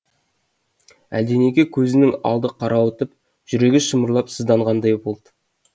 әлденеге көзінің алды қарауытып жүрегі шымырлап сыздағандай болды